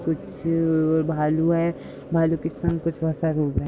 कुछ भालू हैं। भालू के संग कुछ --